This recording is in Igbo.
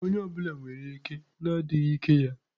Onye ọ bụla nwere ike na adịghị ike ya.